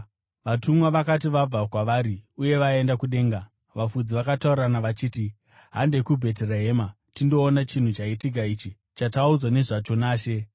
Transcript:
Vatumwa vakati vabva kwavari uye vaenda kudenga, vafudzi vakataurirana vachiti, “Handei kuBheterehema tindoona chinhu chaitika ichi, chataudzwa nezvacho naShe.”